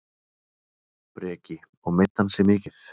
Breki: Og meiddi hann sig mikið?